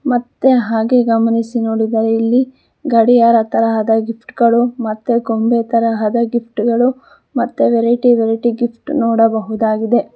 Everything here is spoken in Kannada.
ಮತ್ತೆ ಹಾಗೆ ಗಮನಿಸಿ ನೋಡಿದರೆ ಇಲ್ಲಿ ಗಡಿಯಾರ ತರಹದ ಗಿಫ್ಟ್ ಗಳು ಮತ್ತೆ ಗೊಂಬೆತರಹದ ಗಿಫ್ಟ್ ಗಳು ಮತ್ತೆ ವೆರೈಟಿ ವೆರೈಟಿ ಗಿಫ್ಟ್ ನೋಡಬಹುದಾಗಿದೆ.